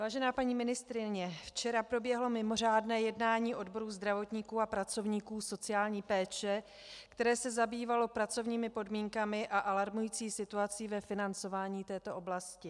Vážená paní ministryně, včera proběhlo mimořádné jednání odboru zdravotníků a pracovníků sociální péče, které se zabývalo pracovními podmínkami a alarmující situací ve financování této oblasti.